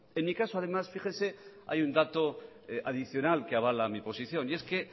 en mi caso además fíjese hay un dato adicional que avala mi posición y es que